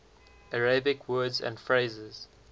arabic words and phrases